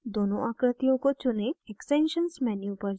दोनों आकृतियों को चुनें extensions menu पर जाएँ